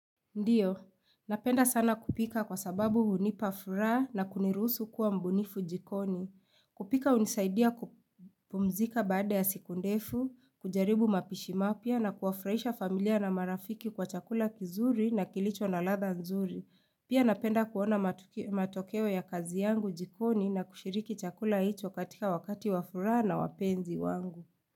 Ndio, napenda sana kupika kwa sababu hunipa furaha na kuniruhusu kuwa mbunifu jikoni. Kupika hunisaidia kupumzika baada ya siku ndefu, kujaribu mapishi mapya na kuwafurahisha familia na marafiki kwa chakula kizuri na kilicho na ladha nzuri. Pia napenda kuona matokeo ya kazi yangu jikoni na kushiriki chakula hicho katika wakati wa furaha na wapenzi wangu.